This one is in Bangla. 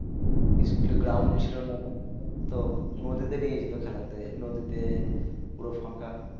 School এ groud ছিল না নদীতে নিয়ে যেত খেলাতে নদীতে পুরো ফাঁকা